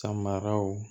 Samaraw